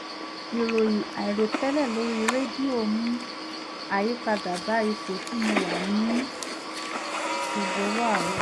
ìròyìn àìròtẹ́lẹ̀ lórí rédíò mú àyípadà bá ipò tí mo wà ní gbogbo ọwọ́ àárọ̀